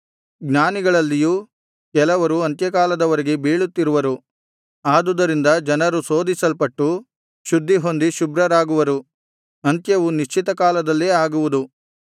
ಜ್ಞಾನಿಗಳಲ್ಲಿಯೂ ಕೆಲವರು ಅಂತ್ಯಕಾಲದವರೆಗೆ ಬೀಳುತ್ತಿರುವರು ಆದುದರಿಂದ ಜನರು ಶೋಧಿಸಲ್ಪಟ್ಟು ಶುದ್ಧಿಹೊಂದಿ ಶುಭ್ರರಾಗುವರು ಅಂತ್ಯವು ನಿಶ್ಚಿತಕಾಲದಲ್ಲೇ ಆಗುವುದು